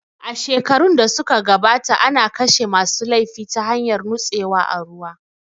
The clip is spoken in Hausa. A shekarun da su ka gabata ana kashe ma su laifi ta hanyar nutsewa a ruwa